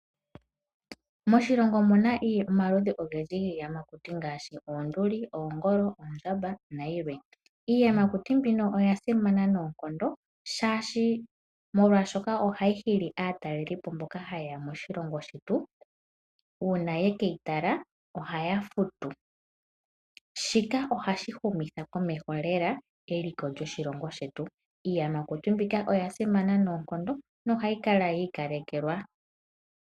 Moshilongo omuna omaludhi ogendji giiyamakuti ngaashi; oonduli, oongolo, oondjamba nayilwe. Iiyamakuti mbino oyasimana noonkondo shaashi ohayi hili aatelelipo mboka haye yamoshilongo shetu, uuna yekeyi tala ohaya futu shika ohashi humitha komeho lela eliko lyoshilongo shetu. Iiyamakuti mbika oyasimana noonkondo no hayi kala yi ikalekelwa.